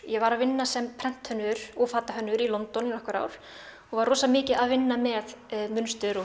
ég var að vinna sem prenthönnuður og fatahönnuður í London í nokkur ár og var rosa mikið að vinna með munstur og